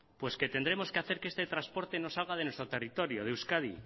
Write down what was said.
pues que tendremos que hacer que este transporte no salga de nuestro territorio de euskadi